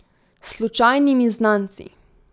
Slučajnimi znanci.